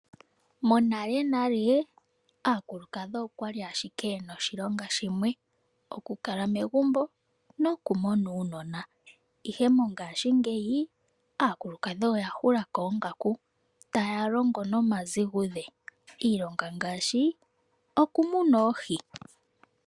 Monale nale aakulukadhi okwali ashike yena oshilonga shimwe. Oku kala megumbo noku mona uunona. Ihe mongashingeyi aakulukadhi oya hulako oongaku taya longo nomazigudhe. Iilongo ngaashi oku muna oohi.